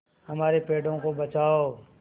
हमारे पेड़ों को बचाओ